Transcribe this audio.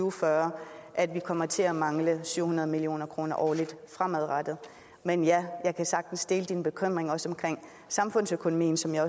og fyrre at vi kommer til at mangle syv hundrede million kroner årligt fremadrettet men ja jeg kan sagtens dele din bekymring også om samfundsøkonomien som jeg